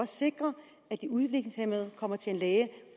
sikre at de udviklingshæmmede kommer til en læge